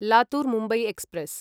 Latur Mumbai express